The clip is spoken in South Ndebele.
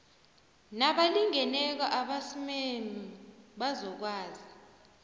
nabalingeneko amasmme bazokwazi